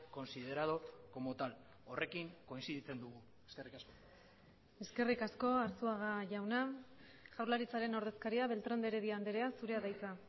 considerado como tal horrekin kointziditzen dugu eskerrik asko eskerrik asko arzuaga jauna jaurlaritzaren ordezkaria beltrán de heredia andrea zurea da hitza